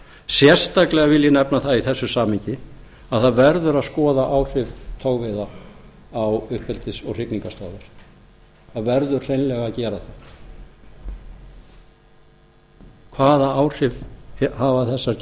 sérstaklega vil ég nefna það í þessu samhengi að það verður að skoða áhrif togveiða á uppeldis og hrygningarstöðvar það verður hreinlega að gera það hvaða áhrif hafa